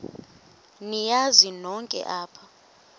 niyazi nonk apha